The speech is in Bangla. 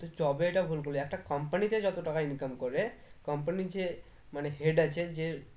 job এইটা ভুল বললি একটা company তে যত টাকা income করে company র যে মানে head আছে যে